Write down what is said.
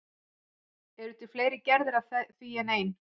Eru til fleiri gerðir af því en ein?